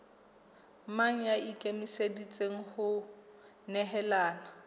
mang ya ikemiseditseng ho nehelana